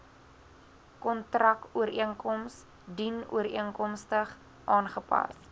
kontrakooreenkoms dienooreenkomstig aangepas